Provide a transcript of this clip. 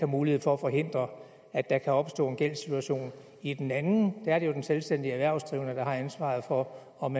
mulighed for at forhindre at der kan opstå en gældssituation i den anden er det jo den selvstændigt erhvervsdrivende der har ansvaret for om